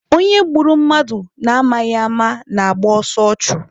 Onye gburu mmadụ na amaghị ama na-agba ọsọ ọchụ.